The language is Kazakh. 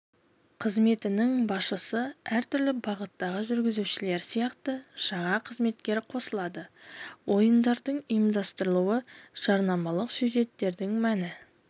қызметінің басшысы әр түрлі бағыттағы жүргізушілер сияқты жаңа қызметтер қосылады ойындардың ұйымдастырылуы жарнамалық сюжеттердің мәні